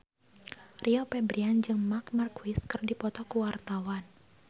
Rio Febrian jeung Marc Marquez keur dipoto ku wartawan